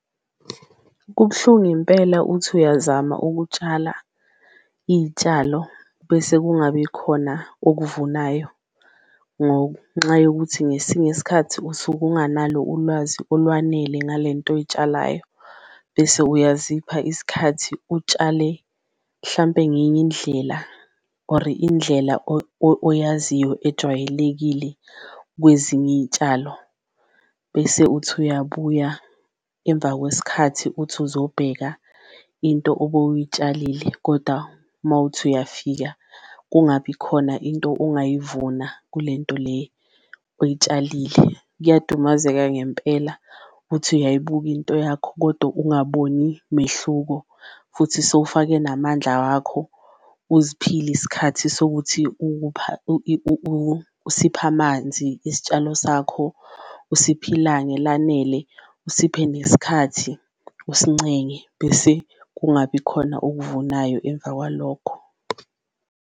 Kubuhlungu impela uthi uyazama ukutshala iy'tshalo bese kungabi khona obuvunayo ngonxa yokuthi ngesinye isikhathi usuke unganalo ulwazi olwanele ngale nto oyitshalayo, bese uyazipha isikhathi utshale hlampe ngenye indlela or indlela oyaziyo ejwayelekile kwezinye iy'tshalo. Bese uthi uyabuya emva kwesikhathi uthi uzobheka into obe uyitshayisile koda uma uthi uyafika kungabi khona into ungayivuna kule nto le oyitshalile, kuyadumazeka ngempela uthi uyayibuka into yakho kodwa ungaboni mehluko. Futhi sewufake namandla wakho uzikhiphile isikhathi sokuthi usiphe amanzi isitshalo sakho, usiphe ilanga elanele, usiphe nesikhathi usincenge bese kungabi khona okuvunayo emva kwalokho.